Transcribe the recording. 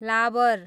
लाबर